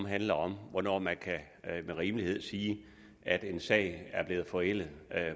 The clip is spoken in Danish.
handler om hvornår man med rimelighed kan sige at en sag er blevet forældet